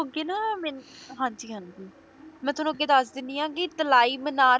ਕੇ ਨਾ ਮੈਨੂੰ ਹਾਂਜੀ ਹਾਂਜੀ ਮੈਂ ਤੁਹਾਨੂੰ ਅੱਗੇ ਦੱਸ ਦੇਣੀ ਆ ਕੀ ਤਲਾਈ ਮੀਨਾਰ